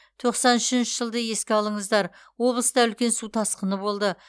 тоқсан үшінші жылды еске алыңыздар облыста үлкен су тасқыны болды